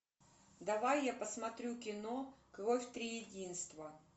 давай я посмотрю кино кровь триединства